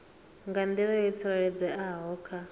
nga nḓila yo tsireledzeaho kha